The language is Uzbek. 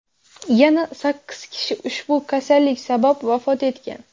Yana sakkiz kishi ushbu kasallik sabab vafot etgan.